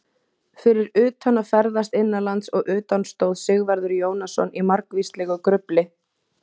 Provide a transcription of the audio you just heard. Fyrir utan að ferðast innanlands og utan stóð Sigvarður Jónasson í margvíslegu grufli.